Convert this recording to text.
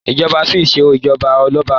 ìjoba Spain ṣe ijọba Ọlọba